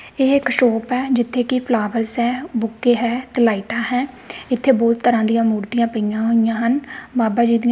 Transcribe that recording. ਇਹ ਇੱਕ ਸ਼ੌਪ ਹੈ ਜਿੱਥੇ ਕੀ ਫਲਾਵਰਸ ਹੈਂ ਬੁੱਕੇ ਹੈ ਤੇ ਲਾਈਟਾਂ ਹੈਂ ਇੱਥੇ ਬਹੁਤ ਤਰਹਾਂ ਦਿਆਂ ਮੂਰਤੀਆਂ ਪਈਆਂ ਹੋਈਆਂ ਹਨ ਬਾਬਾ ਜੀ ਦਿਆਂ।